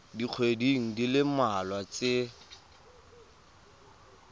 dikgweding di le mmalwa tse